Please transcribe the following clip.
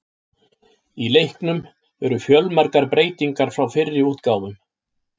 Í leiknum eru fjölmargar breytingar frá fyrri útgáfum.